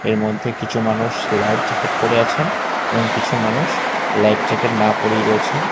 এর মধ্যে কিছু মানুষ লাইভ জ্যাকেট পরে আছেন এবং কিছু মানুষ লাইভ জ্যাকেট না পরেই রয়েছেন।